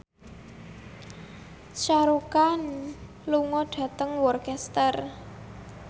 Shah Rukh Khan lunga dhateng Worcester